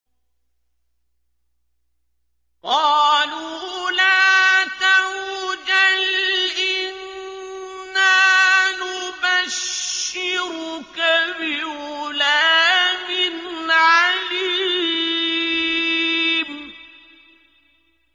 قَالُوا لَا تَوْجَلْ إِنَّا نُبَشِّرُكَ بِغُلَامٍ عَلِيمٍ